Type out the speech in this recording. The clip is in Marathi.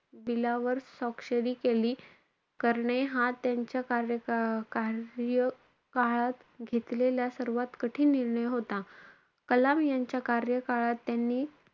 bill वर स्वाक्षरी केली~ करणे हा त्यांच्या कार्यका~ कार्यकाळात घेतलेला सर्वात कठीण निर्णय होता. कलाम यांच्या कार्यकाळात त्यांनी,